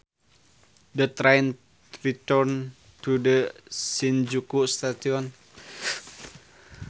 The train returned to the Shinjuku station